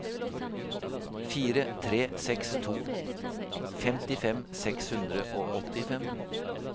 fire tre seks to femtifem seks hundre og åttifem